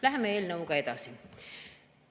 Läheme eelnõuga edasi.